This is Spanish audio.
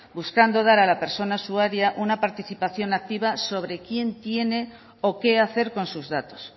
buscando dar a la persona usuaria una participación activa sobre quién tiene o qué hacer con sus datos